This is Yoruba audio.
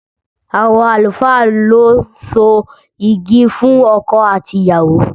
Àwọn àlùfáà lo ń so yigi fún ọkọ àti ìyàwó